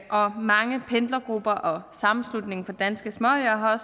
og mange pendlergrupper og sammenslutningen af danske småøer har